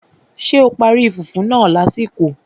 Ṣé o parí fùfú náà lásìkò?